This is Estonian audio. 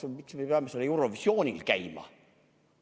Või miks me peame seal Eurovisionil käima?